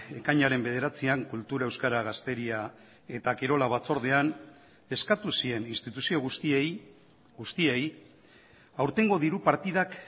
ekainaren bederatzian kultura euskara gazteria eta kirola batzordean eskatu zien instituzio guztiei guztiei aurtengo diru partidak